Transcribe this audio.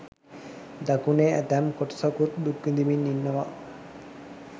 දකුණේ ඇතැම් කොටසකුත් දුක් විඳිමින් ඉන්නවා.